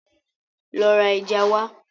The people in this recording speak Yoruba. Lọ ra ẹja wá.